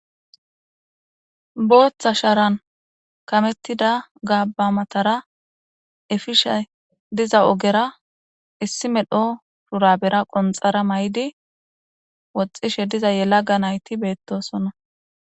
booththa sharan kamettida gaaba matara efishe diza ogera issi medho purabera qonxara may7di woxxishe diza yela ga nayti beettosonna